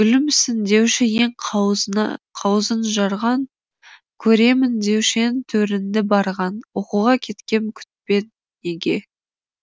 гүлімсің деуші ең қауызын жарған көремін деуші ең төріңді барған оқуға кеткем күтпедің неге